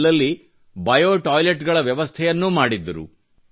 ಅಲ್ಲಲ್ಲಿ bio toilet ಗಳ ವದಯವಸ್ಥೆಯನ್ನು ಮಾಡಿದ್ದರು